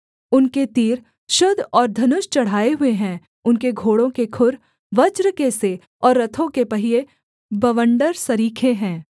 उनके तीर शुद्ध और धनुष चढ़ाए हुए हैं उनके घोड़ों के खुर वज्र के से और रथों के पहिये बवण्डर सरीखे हैं